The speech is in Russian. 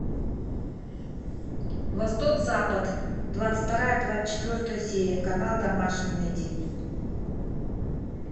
восток запад двадцать вторая двадцать четвертая серия канал домашний найди